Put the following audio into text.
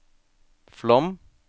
Flåm